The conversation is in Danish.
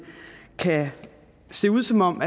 kan se ud som om